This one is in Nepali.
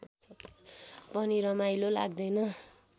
पनि रमाइलो लाग्दैन